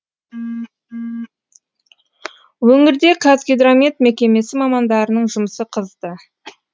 өңірде қазгидромет мекемесі мамандарының жұмысы қызды